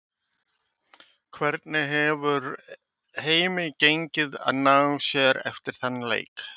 Hvernig hefur heimi gengið að ná sér eftir þann leik?